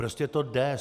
Prostě to jde.